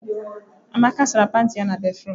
Amaka sara pantị ya na béfrụm.